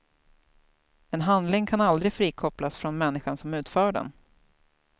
En handling kan aldrig frikopplas från människan som utför den.